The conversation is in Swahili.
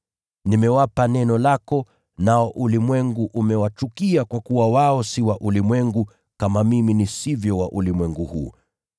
Nimewapa neno lako, nao ulimwengu umewachukia kwa kuwa wao si wa ulimwengu kama mimi nisivyo wa ulimwengu huu.